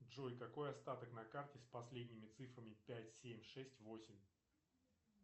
джой какой остаток на карте с последними цифрами пять семь шесть восемь